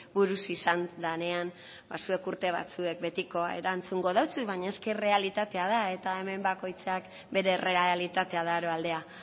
buruz izan danean ba zuek urte batzuek betiko erantzungo dotzut baina eske errealitatea da eta hemen bakoitzak bere errealitatea daroa aldea